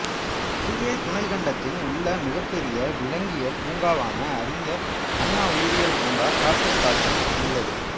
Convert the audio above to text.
இந்திய துணைக்கண்டத்தில் உள்ள மிகப்பெரிய விலங்கியல் பூங்காவான அறிஞ்சர் அண்ணா உயிரியல் பூங்கா காப்புக் காட்டில் உள்ளது